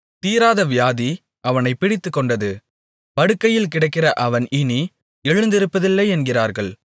தீராத வியாதி அவனைப் பிடித்துக் கொண்டது படுக்கையில் கிடக்கிற அவன் இனி எழுந்திருப்பதில்லை என்கிறார்கள்